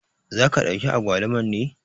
Za ka ɗauki agwaluman ne?